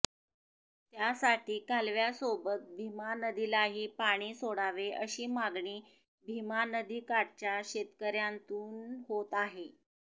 त्यासाठी कालव्यासोबत भीमा नदीलाही पाणी सोडावे अशी मागणी भीमा नदीकाठच्या शेतकर्यांतून होत आहे